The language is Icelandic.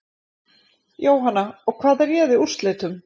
Jóhanna: Og hvað réði úrslitum?